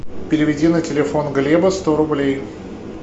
переведи на телефон глеба сто рублей